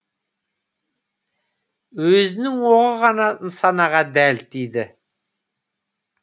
өзінің оғы ғана нысанаға дәл тиді